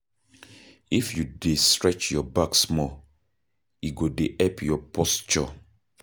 If you dey stretch your back small, e go dey help your posture.